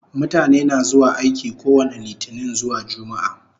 Mutane na zuwa aiki kowani litinin zuwa jumaa